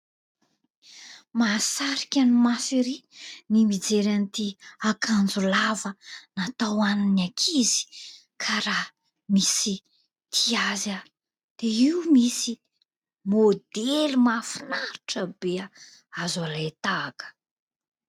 Mahasarika ny maso erỳ ny mijery an'ity akanjo lava natao ho an'ny ankizy ka raha misy tia azy dia io misy maodely mahafinaritra be azo alain-tahaka.